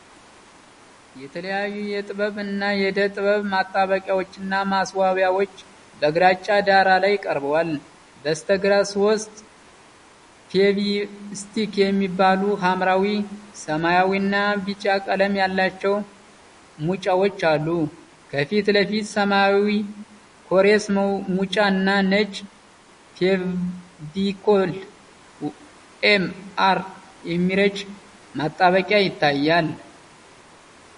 የተለያዩ የጥበብ እና የዕደ-ጥበብ ማጣበቂያዎችና ማስዋቢያዎች በግራጫ ዳራ ላይ ቀርበዋል። በስተግራ ሦስት ፌቪ ስቲክ የሚባሉ፣ ሐምራዊ፣ ሰማያዊና ቢጫ ቀለም ያላቸው ሙጫዎች አሉ። ከፊት ለፊት ሰማያዊ ኮሬስ ሙጫ እና ነጭ ፌቪኮል ኤም አር የሚረጭ ማጣበቂያ ይታያሉ።